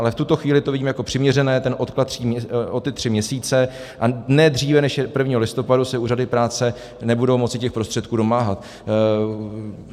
Ale v tuto chvíli to vidím jako přiměřené, ten odklad o ty tři měsíce, a ne dříve než 1. listopadu se úřady práce nebudou moci těch prostředků domáhat.